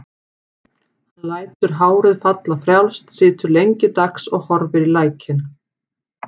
Hann lætur hárið falla frjálst, situr lengi dags og horfir í lækinn.